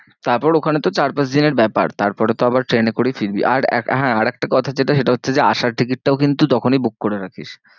তারপর ওখানে তো চার পাঁচ দিনের ব্যাপার। তারপরে তো আবার ট্রেনে করেই ফিরবি আর আহ হ্যাঁ আর একটা কথা যেটা সেটা হচ্ছে যে আসার ticket টা কিন্তু তখনই book করে রাখিস।